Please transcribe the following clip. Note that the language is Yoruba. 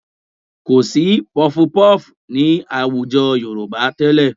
Kò sí puffpuff ní àwùjọ Yorùbá tẹ́lẹ̀